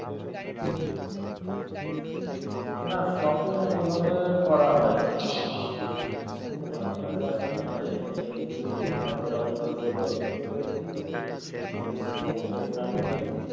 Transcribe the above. না sopping ওই ভাবে করা হয় নি আমরা just এমনি গেছিলাম জগন্নাৎ ধামে দর্শন করেছি, আবার সমুদ্রে স্নান করেছি।